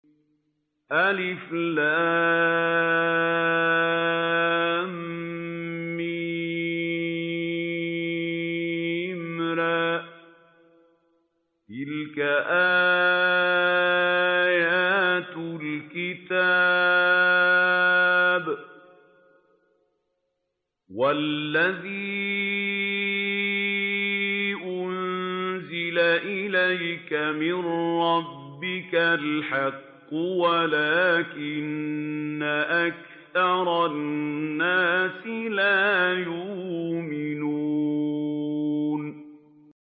المر ۚ تِلْكَ آيَاتُ الْكِتَابِ ۗ وَالَّذِي أُنزِلَ إِلَيْكَ مِن رَّبِّكَ الْحَقُّ وَلَٰكِنَّ أَكْثَرَ النَّاسِ لَا يُؤْمِنُونَ